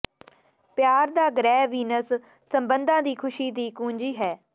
ਪਿਆਰ ਦਾ ਗ੍ਰਹਿ ਵੀਨਸ ਸਬੰਧਾਂ ਦੀ ਖੁਸ਼ੀ ਦੀ ਕੁੰਜੀ ਹੈ